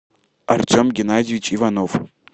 артем геннадьевич иванов